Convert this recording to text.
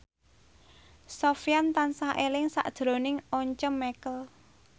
Sofyan tansah eling sakjroning Once Mekel